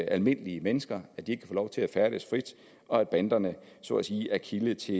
almindelige mennesker så de ikke lov til at færdes frit og at banderne så at sige er kilde til